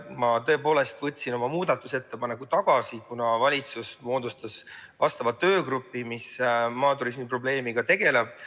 Ma tõepoolest võtsin oma muudatusettepaneku tagasi, kuna valitsus moodustas töögrupi, mis maaturismi probleemiga tegeleb.